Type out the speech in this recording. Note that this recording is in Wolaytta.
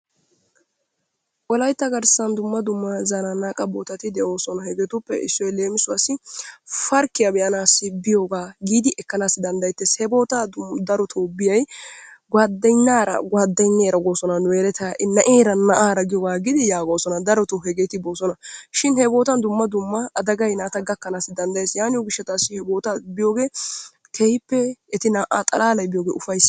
wolaytta garssan dumma dumma zananaqa bootati de'oosna. hegetuppe issoy leemissuwassi farkkiya be'anaw biyooga giidi ekkanaw danddayetee. he bootta darotoo biyyay guwadanyaara guwadanyeera goosona nu yelettay ha'i, naa'ara na'eera giyooga aggidi yagoosona. darotoo hegeeti boosona. shin he boottan dumma dumma adagay naata gakaanassi danddayee yaatiyo gishshassi he bootta biyooge keehippe eti naa'a xalaalay biyooge ufayssena.